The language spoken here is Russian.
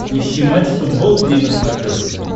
ищи матч футбол три на смотрешке